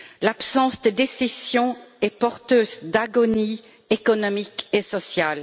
L'absence de décisions est porteuse d'agonie économique et sociale.